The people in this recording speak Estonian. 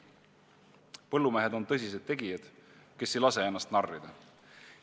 Põllumehed on tõsised tegijad, kes ei lase ennast narrida.